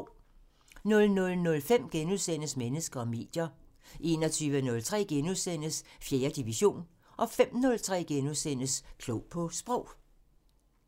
00:05: Mennesker og medier * 01:03: 4. division * 05:03: Klog på Sprog *